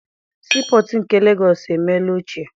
Sii pọtụ nke Legọọsị emeela ochie.